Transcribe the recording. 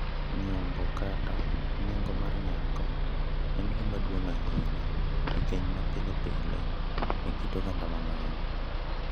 Nyombo, kata “nengo mar nyako,” en gima duong’ ahinya e keny ma pile pile e kit oganda mang’eny.